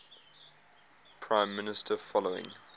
prime minister following